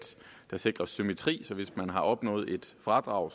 der sikres symmetri så hvis man har opnået et fradrag